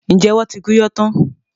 Ǹjẹ́ wọn ti gun iyán tán?